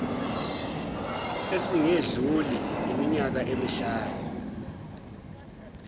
esingedluli iminyaka emihlanu